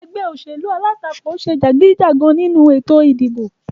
Egbé òṣèlú alátakò se jàgídíjàgan nínu ètò ìdìbò